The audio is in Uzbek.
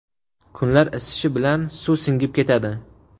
Kunlar isishi bilan suv singib ketadi.